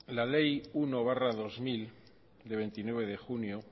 la ley uno barra dos mil de veintinueve de junio